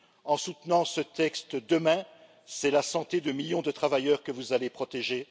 En soutenant ce texte demain, c'est la santé de millions de travailleurs que vous allez protéger.